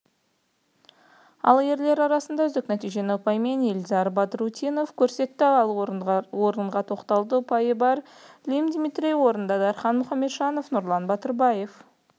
ал ерлер арасында үздік нәтижені ұпаймен ильдар бадрутдинов көрсетті ол орынға тоқталды ұпайы бар лим дмитрий орында дархан мұхамеджанов нұрлан батырбаев